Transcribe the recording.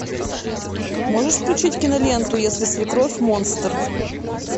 можешь включить киноленту если свекровь монстр